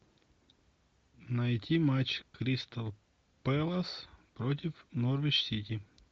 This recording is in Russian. найти матч кристал пэлас против норвич сити